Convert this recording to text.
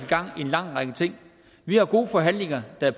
gang i en lang række ting vi har gode forhandlinger der